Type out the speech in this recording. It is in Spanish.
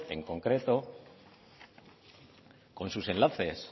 con sus enlaces